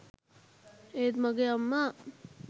ඒත් මගේ අම්මා